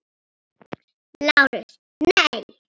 LÁRUS: Nei.